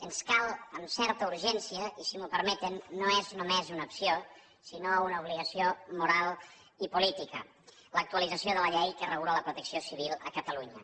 ens cal amb certa urgència i si m’ho permeten no és només una opció sinó una obligació moral i política l’actualització de la llei que regula la protecció civil a catalunya